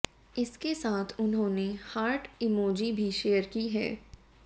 इसके साथ उन्होंने हार्ट इमोजी भी शेयर की है